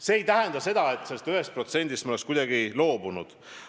See ei tähenda seda, et me oleme sellest 1%-st kuidagi loobunud.